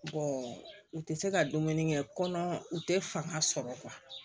u tɛ se ka dumuni kɛ kɔnɔ u tɛ fanga sɔrɔ